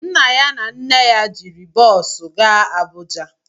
Nna ya na nne ya jiri bọosu gaa Abuja